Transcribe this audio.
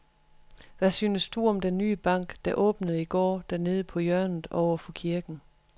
Hvad synes du om den nye bank, der åbnede i går dernede på hjørnet over for kirken?